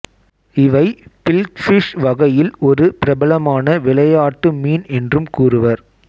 இவை பில்ஃபிஷ் வகையில் ஒரு பிரபலமான விளையாட்டு மீன் என்றும் கூறுவர்